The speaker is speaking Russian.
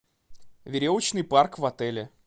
веревочный парк в отеле